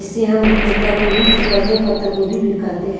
जिसे हम बंदा गोभी भी कहते हैं पत्ता गोभी भी कहते हैं।